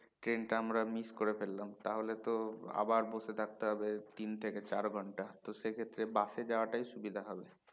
train টা আমরা miss করে ফেললাম তাহলে তো আবার বসে থাকতে হবে তিন থেকে চার ঘন্টা তো সেক্ষেত্রে bus এ যাওয়াটাই সুবিধা হবে